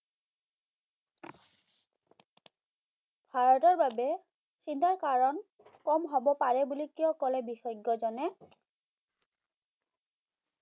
ভাৰতৰ বাবে চিন্তাৰ কাৰণ কম হ'ব পাৰে বুলি কিয় কলে বিশেষজ্ঞ জনে